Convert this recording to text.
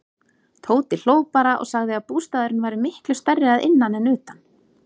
Tóti hló bara og sagði að bústaðurinn væri miklu stærri að innan en utan.